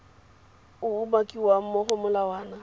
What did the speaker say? o umakiwang mo go molawana